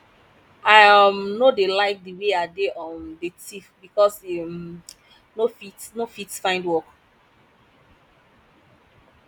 i um no dey like the way ade um dey thief because e um no fit no fit find work